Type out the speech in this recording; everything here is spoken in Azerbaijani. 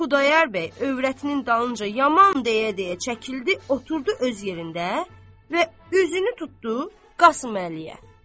Xudayar bəy övrətinin dalınca yaman deyə-deyə çəkildi, oturdu öz yerində və üzünü tutdu Qasım Əliyə.